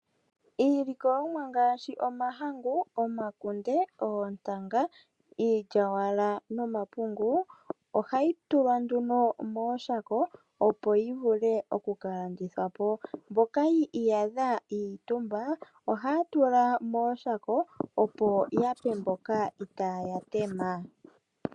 Iilikolomwa ngaashi omahangu, omakunde, oontanga, iilyaalyaaka nomapungu ohayi tulwa nduno mooshako opo yi vule oku ka landithwa po. Mboka yi iyadha yi itumba ohaya tula nduno mooshako opo yape mboka itaaya tema.